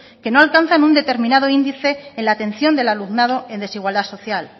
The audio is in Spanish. que no alcanza un determinado índice en la atención del alumnado en desigualdad social